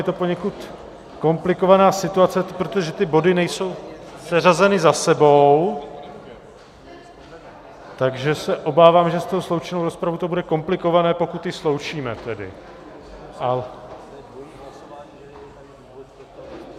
Je to poněkud komplikovaná situace, protože ty body nejsou seřazeny za sebou, takže se obávám, že s tou sloučenou rozpravou to bude komplikované, pokud ji sloučíme tedy.